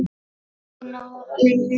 Jóna og Enok.